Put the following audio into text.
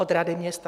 Od rady města.